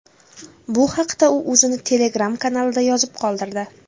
Bu haqda u o‘zini Telegram kanalida yozib qoldirdi .